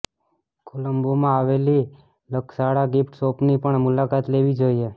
કોલંબોમાં આવેલી લકશાલા ગિફ્ટ શોપની પણ મુલાકાત લેવી જોઈએ